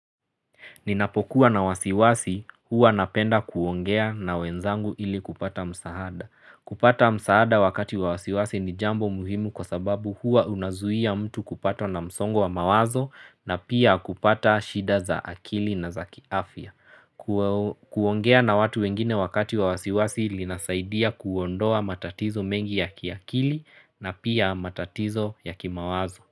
Ninapokuwa na wasiwasi huwa napenda kuongea na wenzangu ili kupata msahada. Kupata msaada wakati wa wasiwasi ni jambo muhimu kwa sababu huwa unazuia mtu kupata na msongo wa mawazo na pia kupata shida za akili na za kiafia. Kuongea na watu wengine wakati wa wasiwasi ili nasaidia kuondoa matatizo mengi ya kiakili na pia matatizo ya ki mawazo.